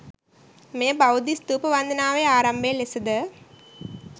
මෙය බෞද්ධ ස්තූප වන්දනාවේ ආරම්භය ලෙසද